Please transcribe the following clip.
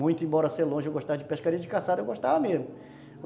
Muito, embora ser longe, eu gostava de pescaria e de caçada, eu gostava mesmo.